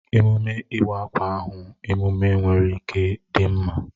Emume iwa akwa ahụ emume nwere ike dị mma